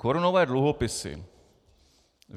Korunové dluhopisy.